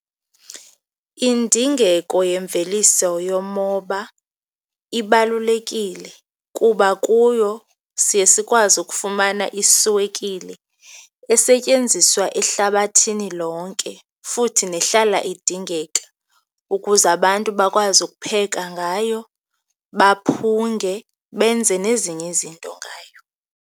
Indingeko yemveliso yomoba ibalulekile kuba kuyo siye sikwazi ukufumana iswekile esetyenziswa ehlabathini lonke futhi nehlala idingeka, ukuze abantu bakwazi ukupheka ngayo, baphunge, benze nezinye izinto ngayo.